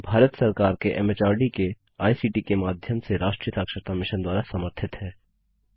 भारत सरकार के एमएचआरडी के आईसीटी के माध्यम से राष्ट्रीय साक्षरता मिशन द्वारा समर्थित है